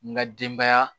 N ka denbaya